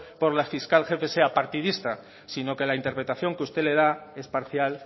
por la fiscal jefe sea partidista sino que la interpretación que usted le da es parcial